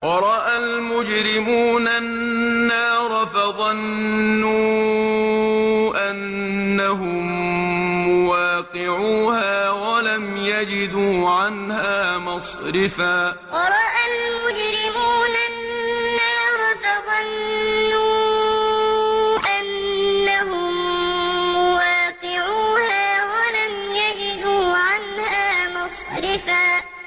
وَرَأَى الْمُجْرِمُونَ النَّارَ فَظَنُّوا أَنَّهُم مُّوَاقِعُوهَا وَلَمْ يَجِدُوا عَنْهَا مَصْرِفًا وَرَأَى الْمُجْرِمُونَ النَّارَ فَظَنُّوا أَنَّهُم مُّوَاقِعُوهَا وَلَمْ يَجِدُوا عَنْهَا مَصْرِفًا